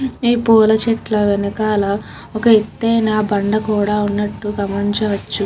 ఈ పూల చెట్ల వెనకాల ఒక అత్తాయిన బండ కూడా ఉనట్టు గమనించవచ్చు.